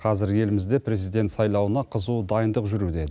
қазір елімізде президент сайлауына қызу дайындық жүруде